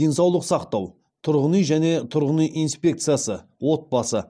денсаулық сақтау тұрғын үй және тұрғын үй инспекциясы отбасы